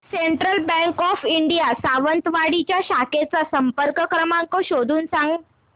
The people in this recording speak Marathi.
central Bank of India Sawantwadi च्या शाखेचा संपर्क क्रमांक शोधून सांग